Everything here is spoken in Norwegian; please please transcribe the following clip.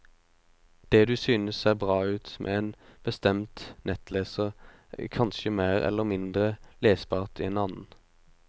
Det du synes ser bra ut med en bestemt nettleser, er kanskje mer eller mindre lesbart i en annen.